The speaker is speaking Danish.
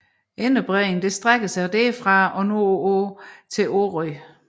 Inderbredning strækker sig derfra og nordpå til Orø